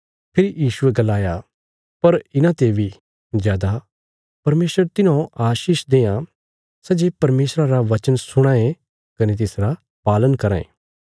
फेरी यीशुये गलाया पर इन्हांते बी जादा परमेशर तिन्हौ आशीष देआं सै जे परमेशरा रा बचन सुणां ये कने तिसरा पालन कराँ ये